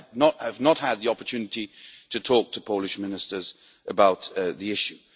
I have not had the opportunity to talk to Polish Ministers about the issue.